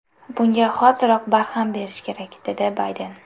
Bunga hoziroq barham berish kerak”, dedi Bayden.